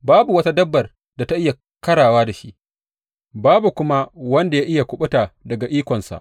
Babu wata dabbar da ta iya ƙarawa da shi, babu kuma wanda ya iya kuɓuta daga ikonsa.